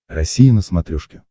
россия на смотрешке